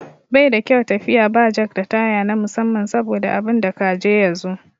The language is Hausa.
Baida kyau tafiya ba jak da taya na musamman saboda abinda ka je ya zo.